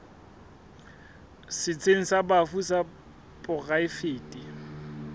setsheng sa bafu sa poraefete